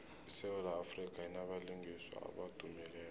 isewula afrika inabalingiswa abadumileko